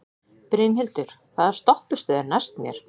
Brynhildur, hvaða stoppistöð er næst mér?